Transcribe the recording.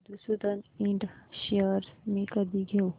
मधुसूदन इंड शेअर्स मी कधी घेऊ